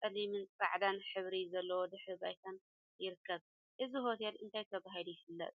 ፀሊምን ፃዕዳን ሕብሪ ዘለዎ ድሕረ ባይታን ይርከብ፡፡ እዚ ሆቴል እንታይ ተባሂሉ ይፍለጥ?